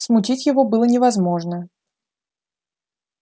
смутить его было невозможно